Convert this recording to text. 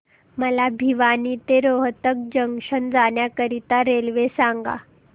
मला भिवानी ते रोहतक जंक्शन जाण्या करीता रेल्वे सांगा